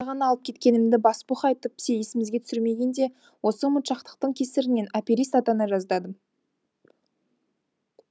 ғана алып кеткенімді басбух айтып есімізге түсірмегенде осы ұмытшақтықтың кесірінен аперист атана жаздадым